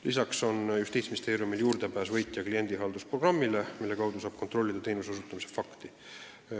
Lisaks on Justiitsministeeriumil juurdepääs võitja kliendihaldusprogrammile, mille kaudu saab kontrollida teenuse osutamise fakti.